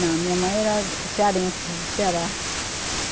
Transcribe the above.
Não, minha mãe era cearense, do Ceará.